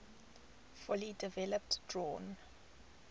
fully developed drawn